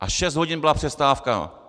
A šest hodin byla přestávka!